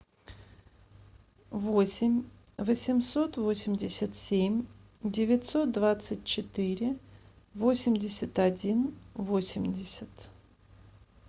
восемь восемьсот восемьдесят семь девятьсот двадцать четыре восемьдесят один восемьдесят